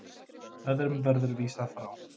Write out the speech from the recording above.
Öðrum verður vísað frá.